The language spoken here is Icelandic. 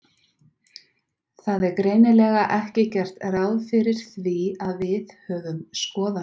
Það er greinilega ekki gert ráð fyrir því að við höfum skoðanir.